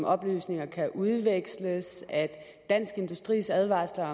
oplysninger kan udveksles dansk industris advarsler